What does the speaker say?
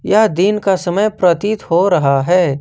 यह दिन का समय प्रतीत हो रहा है।